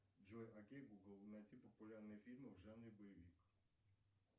джой окей гугл найти популярные фильмы в жанре боевик